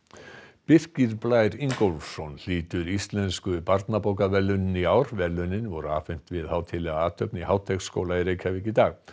Birkir Blær Ingólfsson hlýtur Íslensku barnabókaverðlaunin í ár verðlaunin voru afhent við hátíðlega athöfn í Háteigsskóla í Reykjavík í dag